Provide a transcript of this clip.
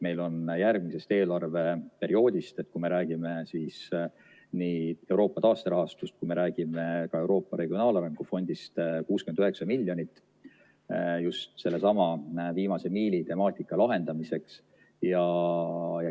Meil on järgmisest eelarveperioodist – kui me nii räägime Euroopa taasterahastust kui ka Euroopa Regionaalarengu Fondist – 69 miljonit just sellesama viimase miili temaatika lahendamiseks.